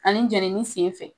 Ani jenini senfɛ